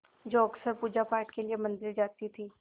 जो अक्सर पूजापाठ के लिए मंदिर जाती थीं